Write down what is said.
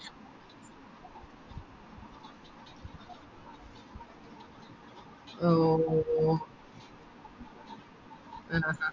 ഓ ആ